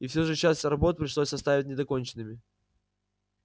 и всё же часть работ пришлось оставить недоконченными